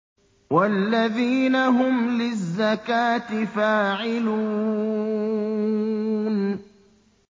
وَالَّذِينَ هُمْ لِلزَّكَاةِ فَاعِلُونَ